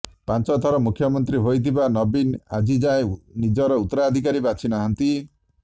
ପାଞ୍ଚ ଥର ମୁଖ୍ୟମନ୍ତ୍ରୀ ହୋଇଥିବା ନବୀନ ଆଜିଯାକେ ନିଜର ଊତ୍ତରାଧିକାରୀ ବାଛି ନାହାନ୍ତି